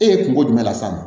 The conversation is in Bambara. E ye kungo jumɛn las'a ma